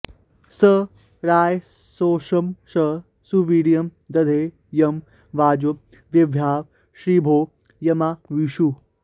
स रायस्पोषं स सुवीर्यं दधे यं वाजो विभ्वाँ ऋभवो यमाविषुः